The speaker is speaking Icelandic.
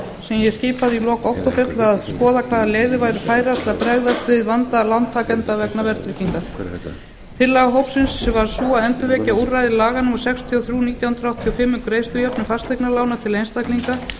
ég skipaði í lok október til að skoða hvaða leiðir væru færar til að bregðast við vanda lántakenda vegna verðtryggingar tillaga hópsins var sú að endurvekja úrræði laga númer sextíu og þrjú nítján hundruð áttatíu og fimm um greiðslujöfnun fasteignalána til einstaklinga